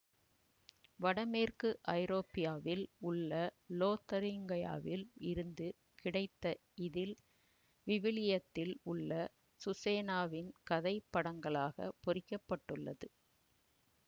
வடமேற்கு ஐரோப்பியாவில் உள்ள லோதரிங்கியாவில் இருந்து கிடைத்த இதில் விவிலியத்தில் உள்ள சுசேனாவின் கதை படங்களாகப் பொறிக்கப்பட்டுள்ளது